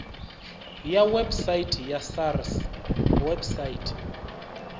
ya website ya sars website